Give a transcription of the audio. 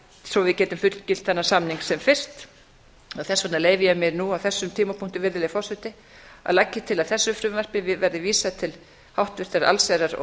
svo við getum fullgilt þennan samning sem fyrst þess vegna leyfi ég mér nú á þessum tímapunkti að leggja til að þessu frumvarpi verði vísað til háttvirtrar allsherjar og